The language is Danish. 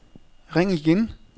ring igen